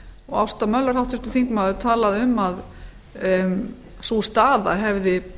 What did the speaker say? og ásta möller háttvirtur þingmaður talaði um sú staða hefði